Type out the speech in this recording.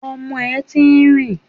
Ọmọ ẹ̀ ti ń rìn